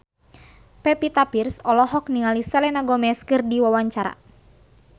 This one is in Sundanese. Pevita Pearce olohok ningali Selena Gomez keur diwawancara